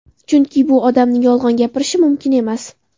Chunki bu odamning yolg‘on gapirishi mumkin emas.